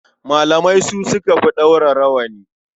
Malamai su suka fi ɗaura rawani.